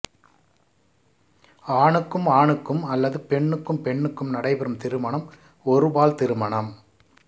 ஆணுக்கும் ஆணுக்கும் அல்லது பெண்ணுக்கும் பெண்ணுக்கும் நடைபெறும் திருமணம் ஒருபால் திருமணம்